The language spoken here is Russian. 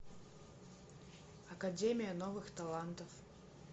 академия новых талантов